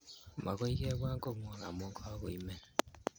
Makoy kipwan kong'wong' amun kakoimen.